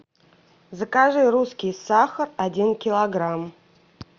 закажи русский сахар один килограмм